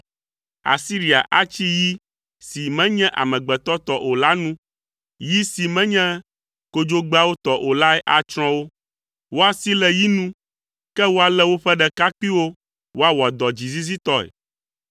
“Asiria atsi yi si menye amegbetɔ tɔ o la nu; yi si menye kodzogbeawo tɔ o lae atsrɔ̃ wo. Woasi le yi nu, ke woalé woƒe ɖekakpuiwo woawɔ dɔ dzizizitɔe.